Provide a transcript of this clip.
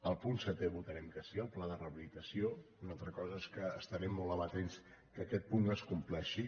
el punt setè votarem que sí al pla de rehabilitació una altra cosa és que estarem molt amatents que aquest punt es compleixi